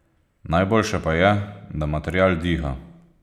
Najboljše pa je, da material diha.